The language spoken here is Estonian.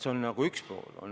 See on üks pool.